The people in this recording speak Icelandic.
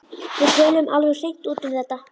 Við töluðum alveg hreint út um þetta.